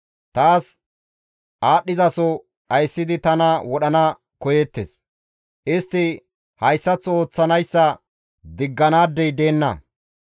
Taas aadhdhizaso dhayssidi tana wodhana koyeettes. Istti hayssaththo ooththanayssa digganaadey deenna.